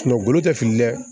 golo tɛ fili dɛ